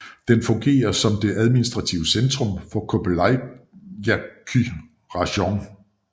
Den fungerer som det administrative centrum for Kobeljaky rajon